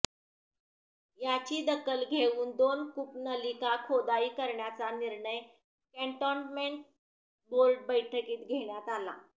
याची दखल घेवून दोन कूपनलिका खोदाई करण्याचा निर्णय कॅन्टोन्मेंट बोर्ड बैठकीत घेण्यात आला